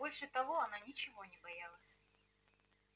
больше того она ничего не боялась